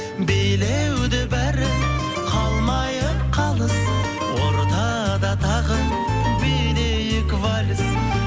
билеуде бәрі қалмайық қалыс ортада тағы билейік вальс